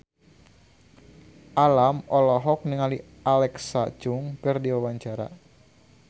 Alam olohok ningali Alexa Chung keur diwawancara